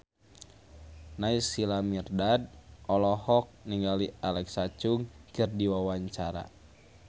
Naysila Mirdad olohok ningali Alexa Chung keur diwawancara